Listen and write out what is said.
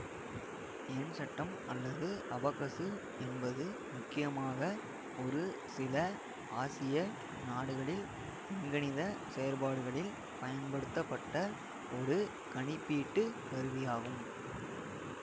எண்சட்டம் அல்லது அபக்கசு என்பது முக்கியமாக ஒரு சில ஆசிய நாடுகளில் எண்கணித செயற்பாடுகளில் பயன்படுத்தப்பட்ட ஒரு கணிப்பீட்டுக் கருவியாகும்